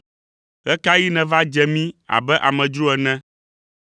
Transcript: Ɣe ka ɣi nèva dze mí abe amedzro ene,